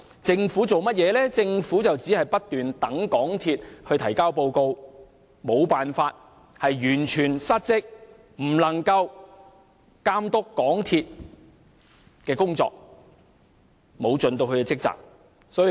政府只是不斷等待港鐵公司提交報告，完全失職，無法監督港鐵公司的工作，沒有盡其職責。